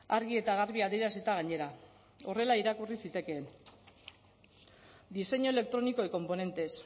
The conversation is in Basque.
argi eta garbi adierazita gainera horrela irakurri zitekeen diseño electrónico y componentes